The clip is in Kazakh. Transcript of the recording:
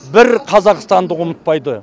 бір қазақстандық ұмытпайды